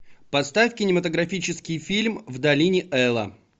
поставь кинематографический фильм в долине эла